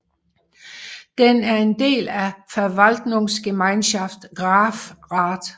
Den er en del af Verwaltungsgemeinschaft Grafrath